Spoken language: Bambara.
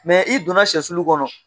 i donna sɛsulu kɔnɔ